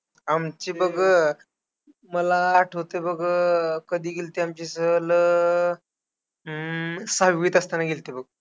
आमची बघ, मला आठवते बघ, कधी गेल्ती आमची सहल, हम्म सहावीत असताना गेल्ती बघ.